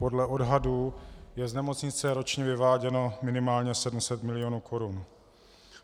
Podle odhadů je z nemocnice ročně vyváděno minimálně 700 mil. korun.